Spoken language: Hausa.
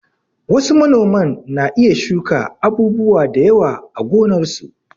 Wasu manoman na iya shuka abubuwa da yawa a gonarsu.